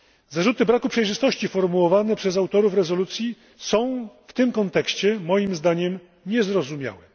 Zarzuty braku przejrzystości formułowane przez autorów rezolucji są w tym kontekście, moim zdaniem, niezrozumiałe.